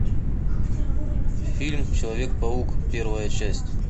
фильм человек паук первая часть